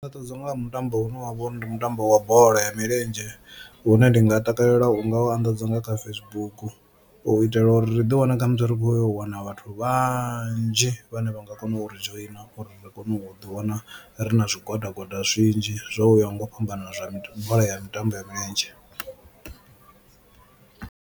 Nṋe ndi takadzwa nga ha mutambo une wa vha uri ndi mutambo wa bola ya milenzhe hune ndi nga takalela u nga u anḓadza nga kha Facebook u itela uri ri ḓi wana khamusi ri kho wana vhathu vhanzhi vhane vha nga kona u ri dzhoina, uri ri kone u ḓi wana ri na zwigwada zwigwada zwinzhi zwo yaho nga u fhambana zwa mitambo zwa bola ya mitambo ya milenzhe.